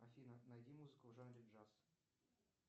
афина найди музыку в жанре джаз